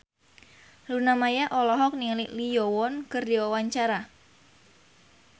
Luna Maya olohok ningali Lee Yo Won keur diwawancara